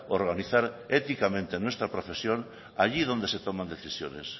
organizar éticamente nuestra profesión allí donde se toman decisiones